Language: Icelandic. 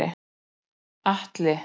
Atli